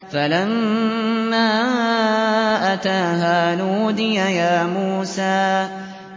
فَلَمَّا أَتَاهَا نُودِيَ يَا مُوسَىٰ